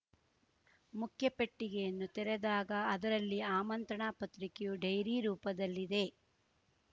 ಮುಖ್ಯ ಪೆಟ್ಟಿಗೆಯನ್ನು ತೆರೆದಾಗ ಅದರಲ್ಲಿ ಆಮಂತ್ರಣ ಪತ್ರಿಕೆಯು ಡೈರಿ ರೂಪದಲ್ಲಿದೆ